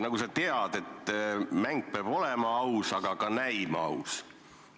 Nagu sa tead, siis mäng mitte üksnes ei pea olema aus, aga ka näima aus.